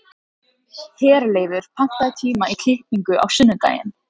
Herleifur, pantaðu tíma í klippingu á sunnudaginn.